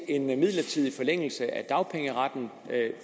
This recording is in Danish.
en midlertidig forlængelse af dagpengeretten